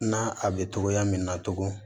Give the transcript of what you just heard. Na a bɛ togoya min na tugun